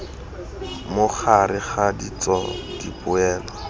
mo gareg ga ditso dipoelo